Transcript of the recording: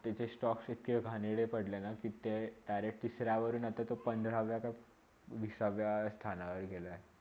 तिथे stalks एवडे घाणेरडे पडलेना तिथे कि ते direct तिसरा वरुण तो पंधरावर विसाव्या स्थनावर गेला आहे